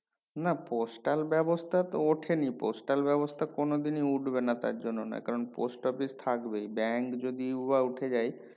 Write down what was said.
না postal ব্যাবস্থা তো ওঠেনি postal ব্যাবস্থা কোনো দিনই উঠবেনা তার জন্য নয় কারণ post office থাকবেই bank যদিওবা উঠে যায়